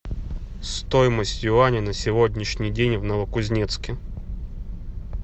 стоимость юаня на сегодняшний день в новокузнецке